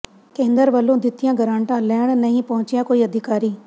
ਕੇਂਦਰ ਵੱਲੋਂ ਦਿੱਤੀਆਂ ਗਰਾਂਟਾਂ ਲੈਣ ਨਹੀਂ ਪਹੁੰਚਿਆ ਕੋਈ ਅਧਿਕਾਰੀ